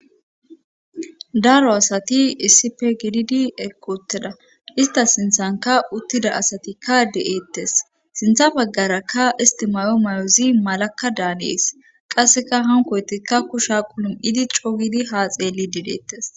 daro asati issipe gididi ekkooteda ista sinthanka uttida asatikka de7eettes sintha baggarakka istimayo may7ozi malakka daanees qasseka hankoytikka kusha qulum idi cowidi haa xeeli dideettes